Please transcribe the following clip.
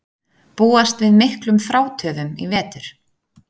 Búast við miklum frátöfum í vetur